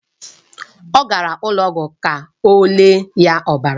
Ọ gara ụlọ ọgwụ ka o lee ya ọbara.